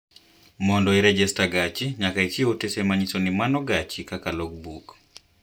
Mondo irejesta gachi nyaka ichiw otese manyiso ni manpo gachi kaka logbook.